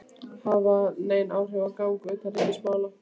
hafa nein áhrif á gang utanríkismálanna.